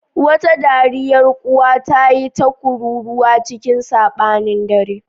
Wata dariyar ƙuwa ta yi ta kururuwa cikin saɓanin dare.